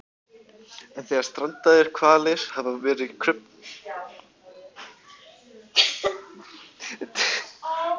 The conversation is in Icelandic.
en þegar strandaðir hvalir hafa verið krufnir hafa magar þeirra reynst vera tómir